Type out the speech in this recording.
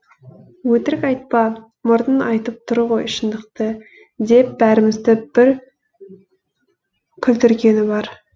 өтірік айтпа мұрның айтып тұр ғой шындықты деп бәрімізді бір күлдіргені бар